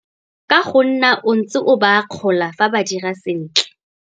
Ka go nna o ntse o ba akgola fa ba dirile sentle.